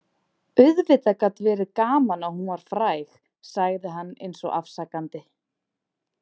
Auðvitað gat verið gaman að hún var fræg, sagði hann eins og afsakandi.